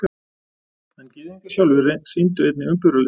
En Gyðingar sjálfir sýndu einnig umburðarleysi.